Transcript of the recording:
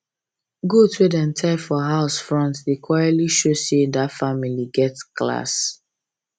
goat wey dem tie for house front dey quietly show say that family get class